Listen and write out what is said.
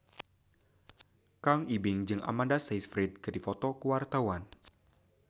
Kang Ibing jeung Amanda Sayfried keur dipoto ku wartawan